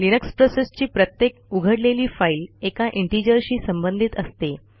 Linux प्रोसेसची प्रत्येक उघडलेली फाईल एका integerशी संबंधित असते